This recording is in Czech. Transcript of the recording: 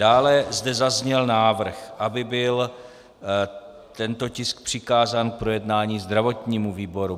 Dále zde zazněl návrh, aby byl tento tisk přikázán k projednání zdravotnímu výboru.